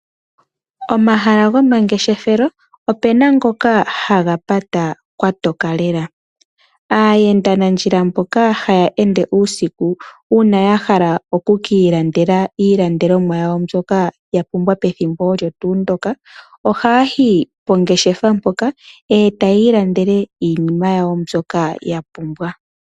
Omahala gomangeshefelo opena ngoka haga pata kwa toka lela. Aayendanandjila mboka haya ende uusiku uuna ya hala oku ki ilandela iilandelomwa yawo mbyoka ya pumbwa pethimbo olyo tuu ndyoka, ohaa yi pongeshefa mpoka e taya ilandele iinima yawo mbyoka ya pumbwa.